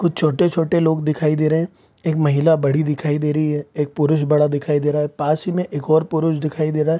कुछ छोटे-छोटे लोग दिखाई दे रहे हैं एक महिला बड़ी दिखाई दे रही है एक पुरुष बड़ा दिखाई दे रहा है पास ही में एक और पुरुष दिखाई दे रहा है।